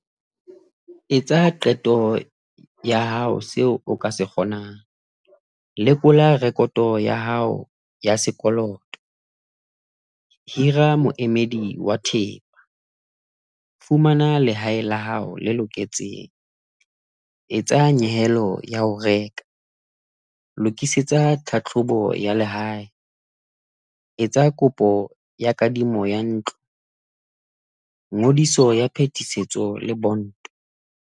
Etsa qeto ya hao seo o ka se kgonang, lekola rekoto ya hao ya sekoloto ya sekoloto. Hira moemedi wa thepa. Fumana lehae la hao le loketseng. Etsa nyehelo ya ho reka. Lokisetsa tlhahlobo ya lehae. Etsa kopo ya kadimo ya ntlo, ngodiso ya phetisetso le bonto.